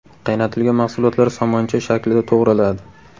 Qaynatilgan mahsulotlar somoncha shaklida to‘g‘raladi.